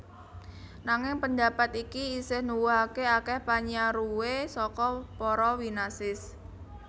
Nanging pendapat iki isih nuwuhaké akèh panyaruwé saka para winasis